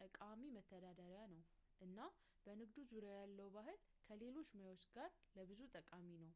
ጠቃሚ መተዳደሪያ ነው እና በንግዱ ዙሪያ ያለው ባህል ከሌሎች ሙያዎች ጋር ለብዙ ጠቃሚ ነው